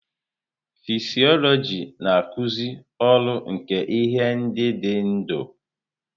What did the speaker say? Fịsiọlojị na-akụzi ọrụ nke ihe ndị dị ndụ.